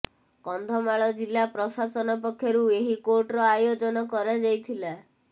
କନ୍ଧମାଳ ଜିଲ୍ଲା ପ୍ରଶାସନ ପକ୍ଷରୁ ଏହି କୋର୍ଟର ଆୟୋଜନ କରାଯାଇଥିଲା